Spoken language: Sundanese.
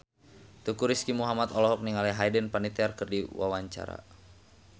Teuku Rizky Muhammad olohok ningali Hayden Panettiere keur diwawancara